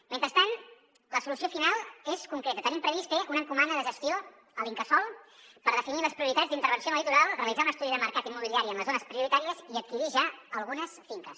mentrestant la solució final és concreta tenim previst fer un encomana de gestió a l’incasòl per definir les prioritats d’intervenció en el litoral realitzar un estudi de mercat immobiliari en les zones prioritàries i adquirir ja algunes finques